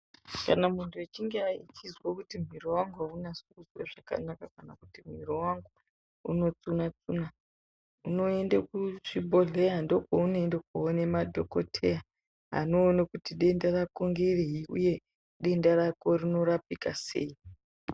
Kana munthu echinge achizwa kuti mwiiri wangu aunasi kuite zvakanaka kana kuti mwiiri wangu unotsuna tsuna. Unoende kuchibhodhleya ndiko kwaunoende koona madhokodheya anoone kuti denda rako nderei uye denda rako rinorapika sei.